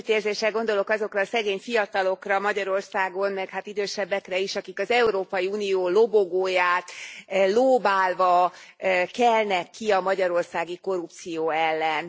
Együttérzéssel gondolok azokra a szegény fiatalokra Magyarországon, meg hát idősebbekre is, akik az Európai Unió lobogóját lóbálva kelnek ki a magyarországi korrupció ellen.